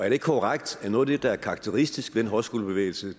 ikke korrekt at noget af det der er karakteristisk ved den højskolebevægelse